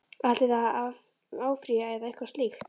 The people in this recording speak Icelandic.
Ætlið þið að áfrýja eða eitthvað slíkt?